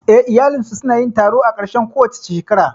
Eh, iyalinsu su na yin taro a ƙarshen kowace shekara